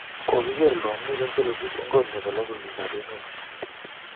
kokiker longik ak solobik eng kot nebo logoywek ab emee